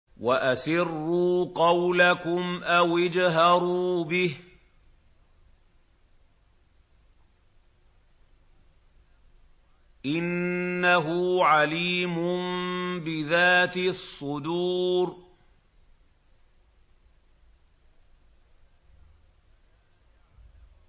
وَأَسِرُّوا قَوْلَكُمْ أَوِ اجْهَرُوا بِهِ ۖ إِنَّهُ عَلِيمٌ بِذَاتِ الصُّدُورِ